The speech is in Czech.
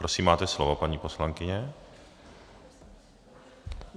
Prosím, máte slovo, paní poslankyně.